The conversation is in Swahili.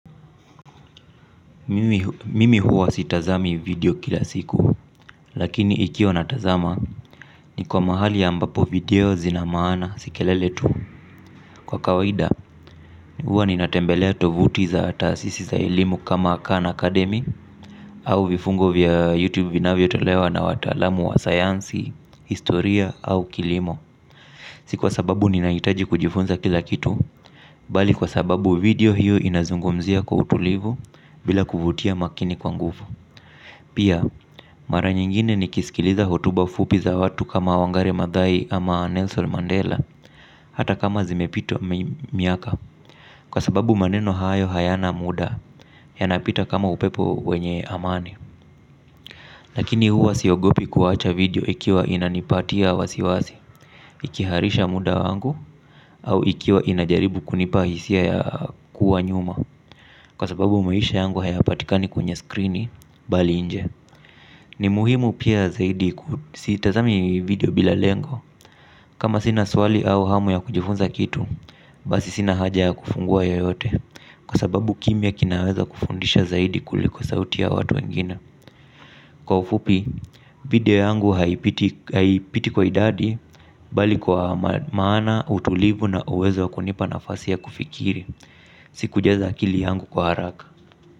Mimi huwa sitazami video kila siku, lakini ikiwa natazama niko mahali ambapo video zina maana si kelele tu. Kwa kawaida huwa ninatembelea tovuti za tasisi za elimu kama kan akademi au vifungo vya youtube vinavyotolewa na watalamu wa sayansi, historia au kilimo. Si kwa sababu ninahitaji kujifunza kila kitu, bali kwa sababu video hiyo inazungumzia kwa utulivu bila kuvutia makini kwa nguvu. Pia mara nyingine nikisikiliza hotuba fupi za watu kama Wangare Madhai ama Nelson Mandela hata kama zimepitwa miaka. Kwa sababu maneno hayo hayana muda yanapita kama upepo wenye amani. Lakini huwa siogopi kuwacha video ikiwa inanipatia wasiwasi. Ikiharisha muda wangu au ikiwa inajaribu kunipa hisia ya kuwa nyuma. Kwa sababu maisha yangu hayapatikani kwenye skrini bali inje. Ni muhimu pia zaidi sitazami video bila lengo. Kama sina swali au hamu ya kujifunza kitu basi sina haja ya kufungua yoyote. Kwa sababu kimya kinaweza kufundisha zaidi kuliko sauti ya watu wengine. Kwa ufupi video yangu haipiti kwa idadi bali kwa maana utulivu na uwezo wa kunipa nafasi ya kufikiri. Sikujaza akili yangu kwa haraka.